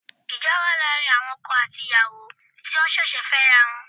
Ìjà wà láàrin àwọn okò àti ìyàwó ti wọ́n ṣẹ̀ṣẹ̀ fẹ́ra wọn